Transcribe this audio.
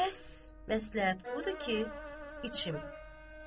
Bəs məsləhət budur ki, içim.